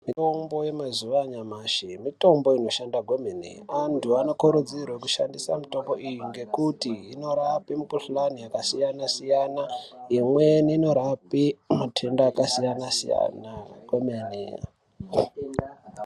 Mitombo yemazuva anyamashi mitombo inoshanda kwemene antu anokurudzirwa kushandisa mitombo iyi ngekuti inorapa mikuhlani yakasiyana-siyana imweni inorapa matenda akasiyana-siyana kwemene.